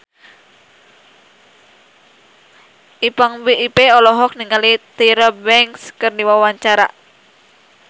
Ipank BIP olohok ningali Tyra Banks keur diwawancara